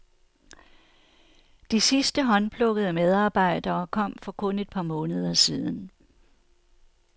De sidste to håndplukkede medarbejdere kom for kun et par måneder siden.